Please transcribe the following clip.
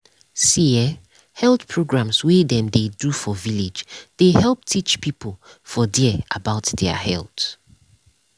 see eh health programs wey dem dey do for village dey help teach people for dere about dia health.